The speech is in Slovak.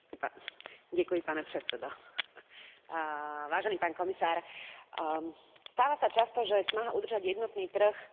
Stáva sa často, že snaha udržať jednotný trh sa deje na úkor sociálnych práv a dodržiavania akýchsi národných tradícií na trhu práce.